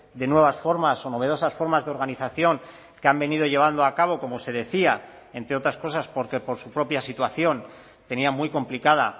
de nuevas formas o novedosas formas de organización que han venido llevando a cabo como se decía entre otras cosas porque por su propia situación tenía muy complicada